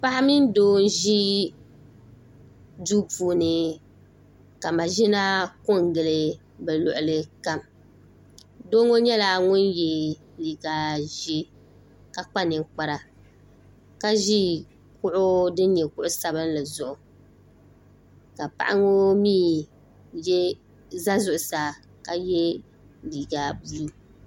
paɣa mini doo n ʒi duu puuni ka maʒina ko n gili bi luɣuli doo ŋo nyɛla ŋun yɛ liiga ʒiɛ ka kpa ninkpara ka ʒi kuɣu din nyɛ kuɣu sabinli zuɣu ka paɣa ŋo mii ʒɛ zuɣusaa ka yɛ liiga buluu